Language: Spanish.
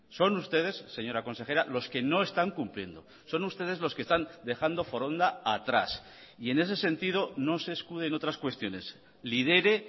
son ustedes señora consejera los que no están cumpliendo son ustedes los que están dejando foronda atrás y en ese sentido no se escude en otras cuestiones lidere